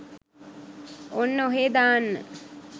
ඔන්න ඔහෙ දාන්න